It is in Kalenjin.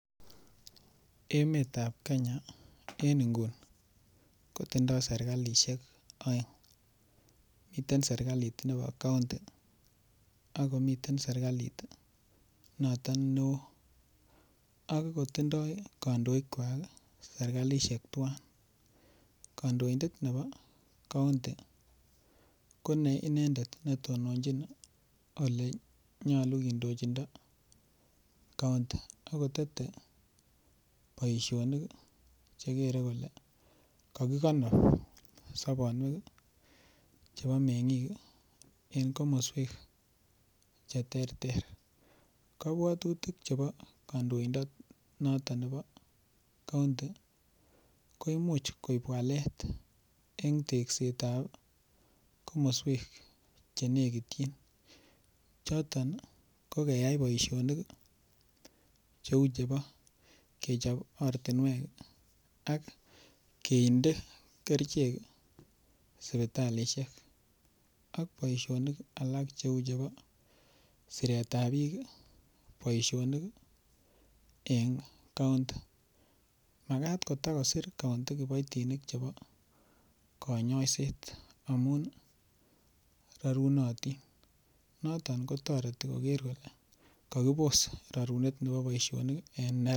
Emetab Kenya en nguni kotindoi serkalisiek aeng miten serkalit nebo kaunti ak komiten noton neo ak kotindoi kandoik kwak serkalisiek twan kandoindet nebo kaunti ko ne inendet ne tononjin Ole nyolu kindochindo kaunti ak kotete boisionik chekere kole kakikonob sobonwek chebo mengik en komoswek Che terter kobwotutik chebo kandoindet noton nebo kaunti ko Imuch koib walet en tekset ab komoswek Che negityin choton ko keyai boisionik Cheu chebo kechob ortinwek ak kinde kerichek sipitalisiek ak boisionik alak Cheu chebo siretab bik boisionik en kaunti Makat kotakosir kaunti kiboitinik chebo kanyoiset amun rorunotin noton kotoreti koger kole kakibos rorunet nebo boisionik en neranik